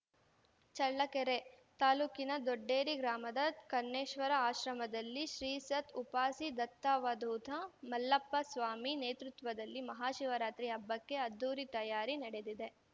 ಚಳ್ಳಕೆರೆ ತಾಲೂಕಿನ ದೊಡ್ಡೇರಿ ಗ್ರಾಮದ ಕನ್ನೇಶ್ವರ ಆಶ್ರಮದಲ್ಲಿ ಶ್ರೀಸತ್‌ ಉಪಾಸಿ ದತ್ತಾವಧೂತ ಮಲ್ಲಪ್ಪ ಸ್ವಾಮಿ ನೇತೃತ್ವದಲ್ಲಿ ಮಹಾಶಿವರಾತ್ರಿ ಹಬ್ಬಕ್ಕೆ ಅದ್ದೂರಿ ತಯಾರಿ ನಡೆದಿದೆ